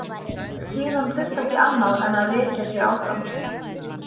Síðan þurfti ekki annað en að rekja sig áfram.